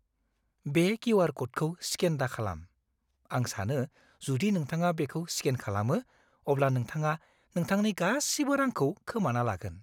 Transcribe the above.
बे किउ.आर. क'डखौ स्केन दाखालाम! आं सानो, जुदि नोंथाङा बेखौ स्केन खालामो, अब्ला नोंथाङा नोंथांनि गासिबो रांखौ खोमाना लागोन।